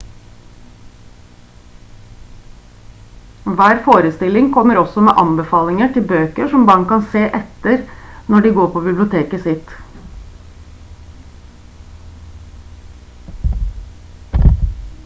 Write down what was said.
hver forestilling kommer også med anbefalinger til bøker som barn kan se etter når de går på biblioteket sitt